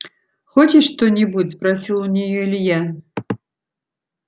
хочешь что-нибудь спросил у неё илья